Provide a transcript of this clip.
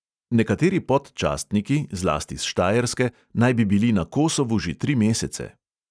Nekateri (pod)častniki, zlasti iz štajerske, naj bi bili na kosovu že tri mesece.